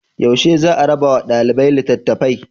Yaushe za a rabawa ɗaliba litattafai?